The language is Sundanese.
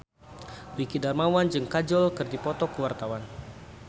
Dwiki Darmawan jeung Kajol keur dipoto ku wartawan